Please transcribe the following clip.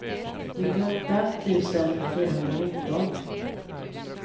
nittioåtta tusen fyrahundranitton